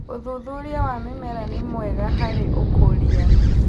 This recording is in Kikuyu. Ũthũthũrĩa wa mĩmera nĩ mwega harĩ ũkũrĩa